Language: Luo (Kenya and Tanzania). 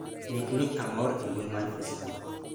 ndikni amor e mbui mar facebook